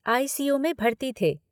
आई C U में भर्ती थे।